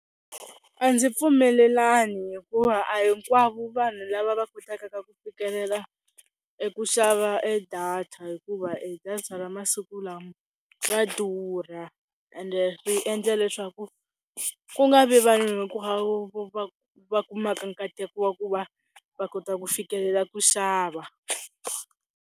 A ndzi pfumelelani hikuva a hinkwavo vanhu lava va kotaka ku fikelela eku xava e data hikuva e data ra masiku lama va durha ende ri endla leswaku ku nga vi vanhu hinkwavo vo va kumaka nkateko wa ku va va kota ku fikelela ku xava.